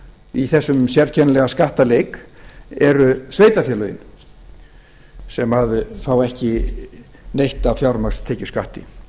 í þessum sérkennilega skattaleik eru sveitarfélögin sem fá ekki neitt af fjármagnstekjuskatti